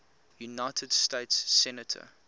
united states senator